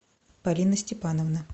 полина степановна